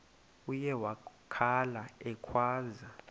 uye wakhala ekhwaza